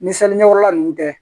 Ni ɲɛkɔrɔla ninnu kɛ